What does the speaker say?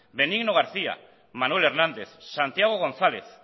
benigno garcía manuel hernández santiago gonzález